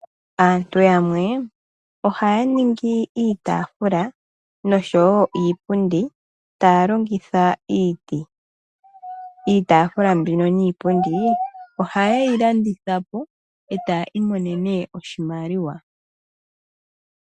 Aantu yamwe ohaya ningi iitaafula noshowo iipundi taalongitha iiti. Iitaafula mbino niipundi ohayeyi landithapo etaya imonene oshimaliwa.